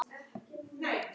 Af hverju ferðu ekki úr?